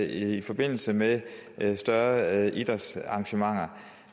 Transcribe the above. i forbindelse med større idrætsarrangementer